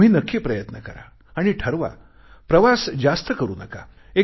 तुम्ही नक्की प्रयत्न करा आणि ठरवा प्रवास जास्त करू नका